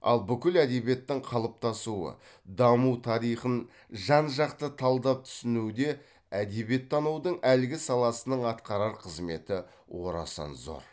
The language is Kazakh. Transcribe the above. ал бүкіл әдебиеттің қалыптасуы даму тарихын жан жақты талдап түсінуде әдебиеттанудың әлгі саласының атқарар қызметі орасан зор